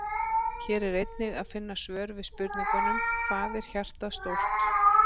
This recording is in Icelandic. Hér er einnig að finna svör við spurningunum: Hvað er hjartað stórt?